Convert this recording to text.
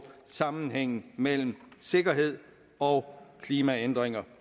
sammenhængen mellem sikkerhed og klimaændringer